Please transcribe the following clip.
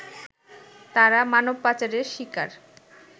তারা মানবপাচারের শিকার